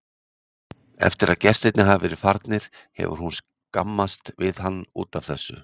Eftir að gestirnir hafa verið farnir hefur hún skammast við hann út af þessu.